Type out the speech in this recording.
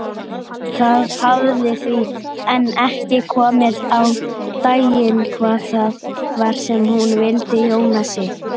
Það hafði því enn ekki komið á daginn hvað það var sem hún vildi Jónasi.